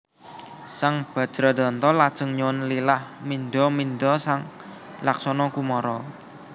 Sang Bajradanta lajeng nyuwun lilah mindha mindha sang Laksana Kumara